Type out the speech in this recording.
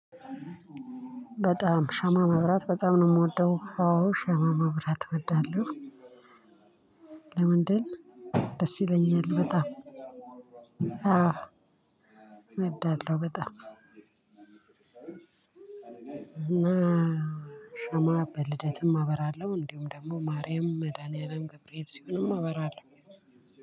በጣም ሻማ ማብራት በጣም ነው የምወደው። አዎ ሻማ ማብራት እወዳለው። ለምንድን ደስ ይለኛል በጣም አዎ እወዳለው በጣም እና ሸማ በልደትም አበራለሁው እንዲሁም ደግሞ ማርያም መድኃኒያም ገብርኤል ሲሆንም አበራለው